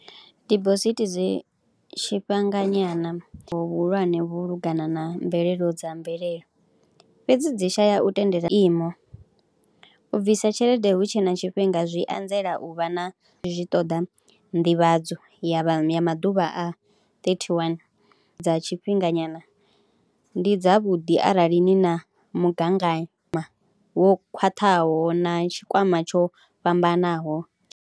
Dibosithi dzi tshifhanganyana vhuhulwane vhu lungana na mvelelo dza mvelelo fhedzi dzi shaya u tendela zwiimo, u bvisa tshelede hu tshe na tshifhinga zwi anzela u vha na, zwi ṱoḓa nḓivhadzo ya maḓuvha a ṱethiwani, dza tshifhinganyana ndi dzavhuḓi arali ni na mugaganyo wo khwaṱhaho na tshikwama tsho fhambanaho.